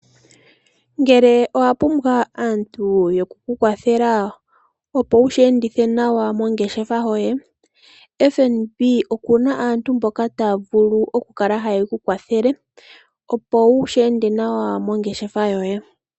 Ngele owa pumbwa aantu yoku kukwathela opo wushi endithe nawa mongeshefa yoye, FNB okuna aantu mboka taya vulu oku kukwathela opo wushi ende nawa mongeshefa yoye.